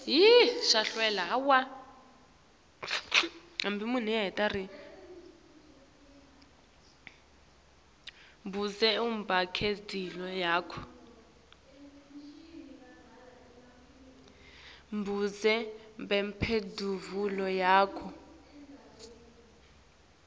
budze bemphendvulo yakho